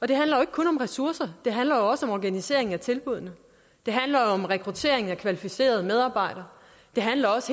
det handler ikke kun om ressourcer det handler også om organisering af tilbuddene det handler om rekruttering af kvalificerede medarbejdere det handler også